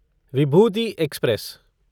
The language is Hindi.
विभूति एक्सप्रेस